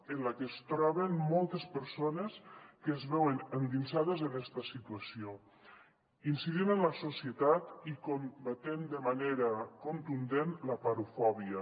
en la que es troben moltes persones que es veuen endinsades en esta situació incidint en la societat i combatent de manera contundent l’aporofòbia